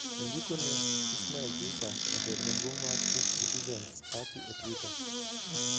Ondikone Ismail Jussa, jatelo maduong' mar Cuf Citizens Party e twitter.